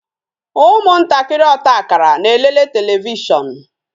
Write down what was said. ụmụ ntakịrị ọta akara na-elele televishon